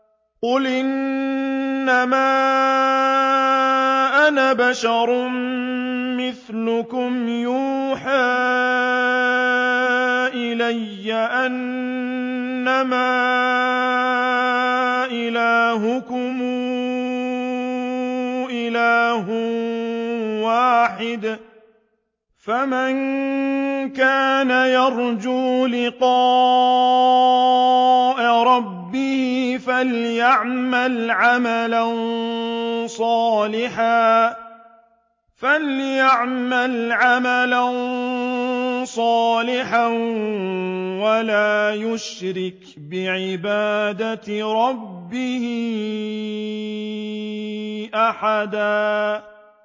قُلْ إِنَّمَا أَنَا بَشَرٌ مِّثْلُكُمْ يُوحَىٰ إِلَيَّ أَنَّمَا إِلَٰهُكُمْ إِلَٰهٌ وَاحِدٌ ۖ فَمَن كَانَ يَرْجُو لِقَاءَ رَبِّهِ فَلْيَعْمَلْ عَمَلًا صَالِحًا وَلَا يُشْرِكْ بِعِبَادَةِ رَبِّهِ أَحَدًا